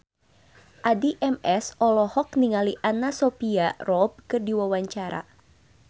Addie MS olohok ningali Anna Sophia Robb keur diwawancara